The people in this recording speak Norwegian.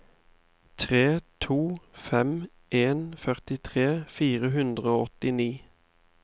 tre to fem en førtitre fire hundre og åttini